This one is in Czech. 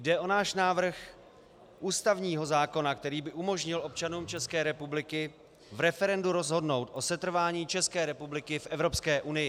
Jde o náš návrh ústavního zákona, který by umožnil občanům České republiky v referendu rozhodnout o setrvání České republiky v Evropské unii.